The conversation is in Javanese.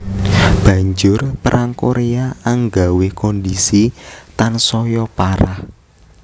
Banjur Perang Koréa anggawé kondhisi tansaya parah